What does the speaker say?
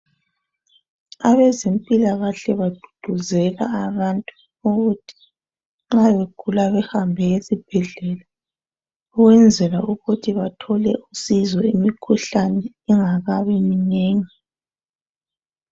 Abezempilakahle bagqugquzela abantu ukuthi nxa begula behambe esibhedlela ukwenzela ukuthi bathole usizo imikhuhlane ingakabi minengi.